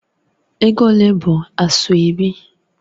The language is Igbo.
Ego ole bụ Asoebi?